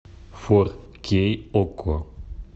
фор кей окко